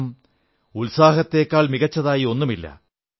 കാരണം ഉത്സാഹത്തേക്കാൾ മികച്ചതായി ഒന്നുമില്ല